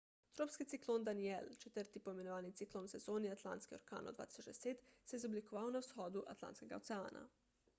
tropski ciklon danielle četrti poimenovani ciklon v sezoni atlantskih orkanov 2010 se je izoblikoval na vzhodu atlantskega oceana